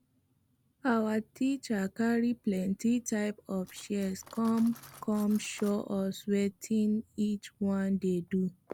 our teacher carry plenty type of shears come come show us wetin each one dey do